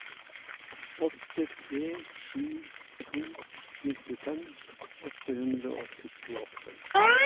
åtte tre sju to nittifem åtte hundre og syttiåtte